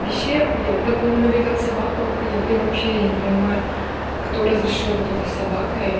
вообще охуел потом он увидел собаку охуел и вообще я не понимаю кто разрешил в итоге с собакой